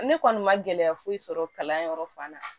Ne kɔni ma gɛlɛya foyi sɔrɔ kalanyɔrɔ fan na